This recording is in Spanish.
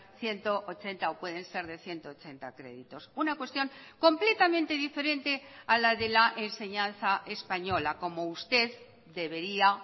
ciento ochenta o pueden ser de ciento ochenta créditos una cuestión completamente diferente a la de la enseñanza española como usted debería